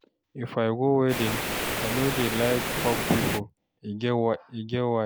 If I go wedding, I no dey like hug pipo, e get why.